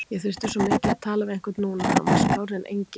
Ég þurfti svo mikið að tala við einhvern núna, hann var skárri en enginn.